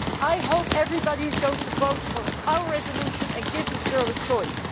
I hope everybody is going to vote for our resolution and give this girl a choice.